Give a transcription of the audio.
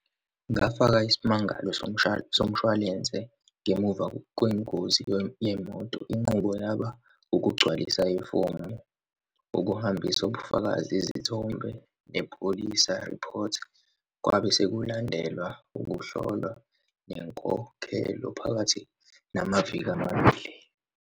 Ngafaka isimangalo somshwalense ngemuva kwengozi yemoto, inqubo yaba ukugcwalisa ifomu, ukuhambisa ukubufakazi, izithombe, nepolisa report. Kwabe sekulandelwa ukuhlolwa, nenkokhelo phakathi namaviki amabili.